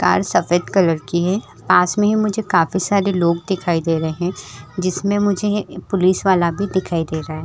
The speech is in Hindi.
कार सफेद कलर की है पास में ही मुझे काफी सारे लोग दिखाई दे रहे हैं जिसमें मुझे पुलिस वाला भी दिखाई दे रहा है।